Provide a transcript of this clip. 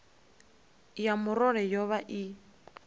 ya murole yo vha i